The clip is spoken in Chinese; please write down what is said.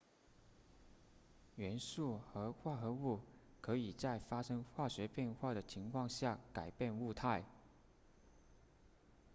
元素和化合物可以在发生化学变化的情况下改变物态